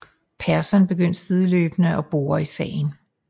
Pearson begynder sideløbende at bore i sagen